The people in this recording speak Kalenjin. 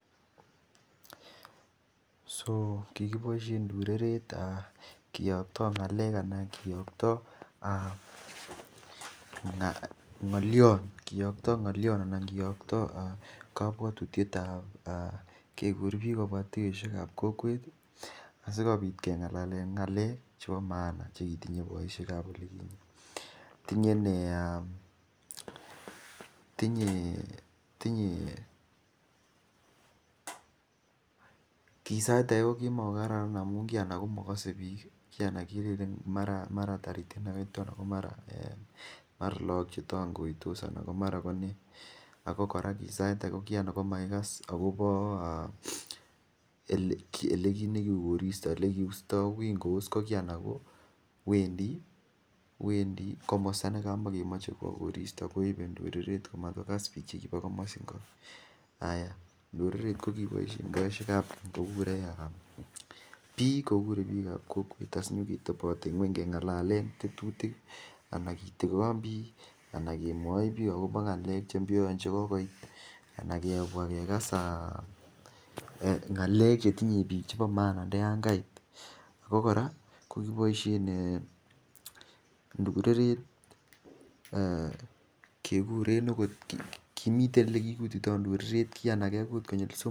So kikiboisien ndureret kiyokto ng'alek anan kiyoktoo nyolyon anan kiyokto kabwotutiet ab kegurbiik kobwa tuyosiek ab kokwet ii asikobit keng'alalen ng'alek chebo mahana chekitinye boisiek ab olikinyee, tinye ki sait age ko kimagararan amun mogose biik, kii anan kelelen mara toritik anan ko mara ko logok chetong'oitos anan ko mara konee, ako kora kii anan komakigas akobo elekiit nekiu koristo, olekiusto, ko kii kous ko wendii komosto nekamakemoche kwo koristo koibe ndureret kogas bii chebo komosiningo, ndureret ko kiboisien biik ab keny kokure biik ab kokwet asikenyoketoboten nyweny keng'alalen tetutik, alan kitigon biik anan kebwochi biik akobo ng'alek cheibyoen chekogoit anan kebwa kegas ng'alek chetinye biik che bo mahana nda yan kait, ako kora kokiboisien ndureret keguren okot, kimiten ilekigigutito ndureret, ki anan kegut konyil somok.